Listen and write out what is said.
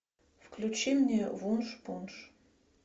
включи мне вуншпунш